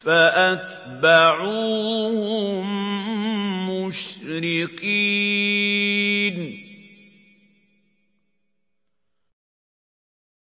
فَأَتْبَعُوهُم مُّشْرِقِينَ